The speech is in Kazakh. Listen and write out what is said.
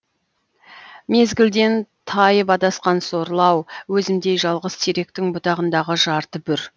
мезгілден тайып адасқан сорлы ау өзімдей жалғыз теректің бұтағындағы жарты бүр